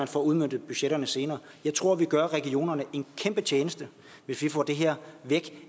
får udmøntet budgetterne senere jeg tror vi gør regionerne en kæmpe tjeneste hvis vi får det her væk